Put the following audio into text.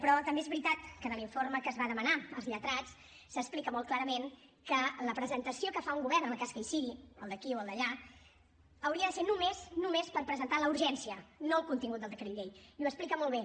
però també és veritat que en l’informe que es va demanar als lletrats s’explica molt clarament que la presentació que fa un govern en el cas que hi sigui el d’aquí o el d’allà hauria de ser només només per presentar la urgència no el contingut del decret llei i ho explica molt bé